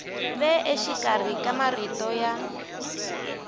ve exikarhi ka marito ya